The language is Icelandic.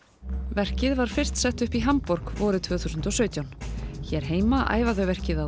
verkið var fyrst sett upp í Hamborg vorið tvö þúsund og sautján hér heima æfa þau verkið á